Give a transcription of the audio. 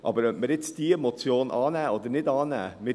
Aber ob wir jetzt diese Motion annehmen oder nicht annehmen: